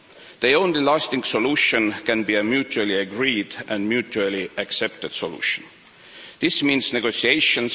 The only lasting solution can be a mutually agreed and mutually accepted solution. This means negotiations.